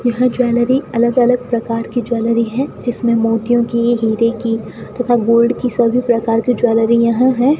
यहां ज्वेलरी अलग अलग प्रकार की ज्वेलरी है जिसमें मोतियों की हीरे की तथा गोल्ड की सभी प्रकार की ज्वेलरी यहां है।